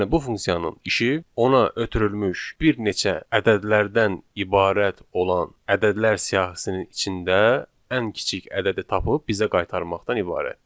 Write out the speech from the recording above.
Yəni bu funksiyanın işi ona ötürülmüş bir neçə ədədlərdən ibarət olan ədədlər siyahısının içində ən kiçik ədədi tapıb bizə qaytarmaqdan ibarətdir.